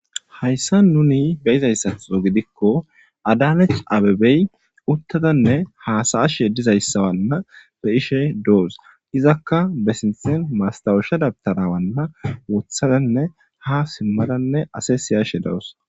hayssa nuni ge izayssatxo gidikko adanech abebey uttadanne haasaashe dizayssawanna be ishe do7os izakka besinthin mastawusha dabtarawanna wothadanne ha simmadanne ase siyashe do7os